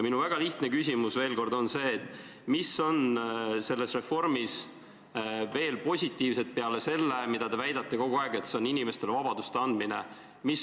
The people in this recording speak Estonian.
Minu väga lihtne küsimus on järgmine: mida muud positiivset on selles reformis peale selle, mida te kogu aeg väidate, et see on inimestele vabaduse andmine?